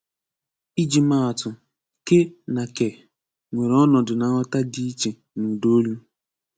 Iji maa atụ, "ké" na "kè" nwere ọnọdụ na nghọta dị iche n' ụdaolu